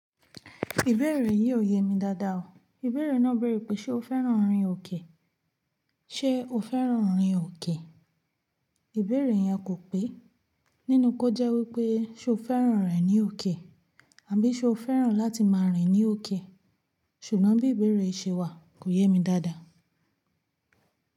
Ìbéèrè yìí ò yé mi dáadáa o. Ìbéèrè náà béèrè pé ṣe o fẹ́ràn orin òkè? Ṣé o fẹ́ràn orin òkè? Ìbéèrè yẹn kò pé. Nínú kó jẹ́ wípé ṣe o fẹ́ràn rẹ ní òkè? Àbí ṣe o fẹ́ràn láti máa rìn ní òkè? Ṣùgbọ́n bí ìbéèrè ṣe wà kò yé mi dáadáa.